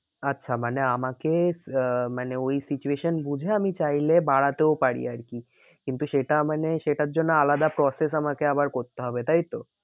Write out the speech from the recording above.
আচ্ছা মানে আমাকে আহ মানে ওই situation বুঝে আমি চাইলে বাড়াতেও পারি আর কি। কিন্তু সেটা মানে সেটার জন্য আলাদা process আমাকে আবার করতে হবে তাই তো?